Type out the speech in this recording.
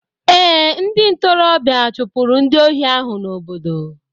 Ee, ndị ntorobịa chụpụrụ ndị ohi ahụ n'obodo.